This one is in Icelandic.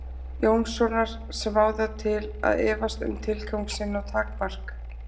Jónssonar sem á það til að efast um tilgang sinn og takmark.